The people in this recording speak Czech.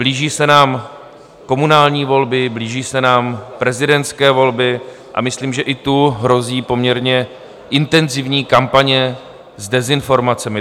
Blíží se nám komunální volby, blíží se nám prezidentské volby a myslím, že i tu hrozí poměrně intenzivní kampaně s dezinformacemi.